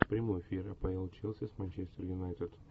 прямой эфир апл челси с манчестер юнайтед